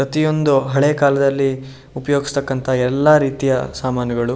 ಪ್ರತಿಯೊಂದು ಹಳೆ ಕಾಲದಲ್ಲಿ ಉಪಯೋಗಿಸ್ತಾಕ್ಕಂತಹ ಎಲ್ಲ ರೀತಿಯ ಸಾಮಾನುಗಳು --